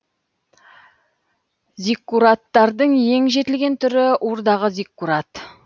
зиккураттардың ең жетілген түрі урдағы зиккурат